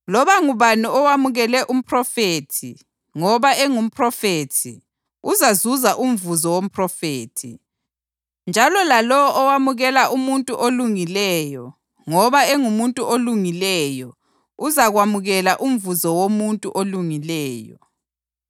Loba ngubani owamukele umphrofethi ngoba engumphrofethi uzazuza umvuzo womphrofethi njalo lalowo owamukela umuntu olungileyo ngoba engumuntu olungileyo uzakwamukela umvuzo womuntu olungileyo.